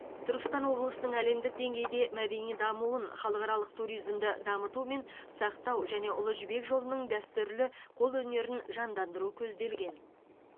түркістан облысының әлемдік деңгейде мәдени дамуын халықаралық туризмді дамыту мен сақтау және ұлы жібек жолының дәстүрлі қолөнерін жандандыру көзделген